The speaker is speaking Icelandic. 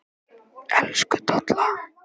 Elsku Dolla.